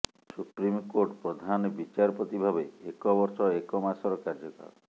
supreme court ପ୍ରଧାନବିଚାରପତି ଭାବେ ଏକ ବର୍ଷ ଏକ ମାସର କାର୍ଯ୍ୟକାଳ